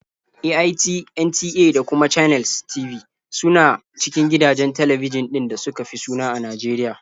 AIT, NTA da kuma Channels TV su na cikin gidajen talbijin ɗin da suka fi suna a Najeriya.